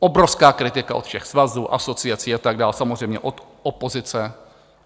Obrovská kritika od všech svazů, asociací a tak dál, samozřejmě od opozice.